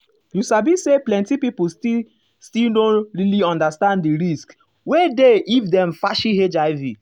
you sabi say plenti people still still no really understand di risk wey dey if dem fashi hiv.